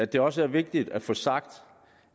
det også vigtigt at få sagt